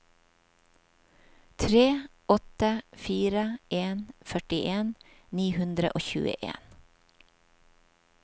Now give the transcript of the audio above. tre åtte fire en førtien ni hundre og tjueen